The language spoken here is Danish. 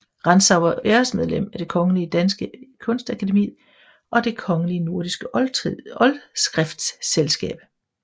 Rantzau var æresmedlem af Det Kongelige Danske Kunstakademi og Det kongelige Nordiske Oldskriftselskab